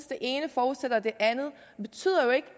det ene forudsætter det andet det betyder jo ikke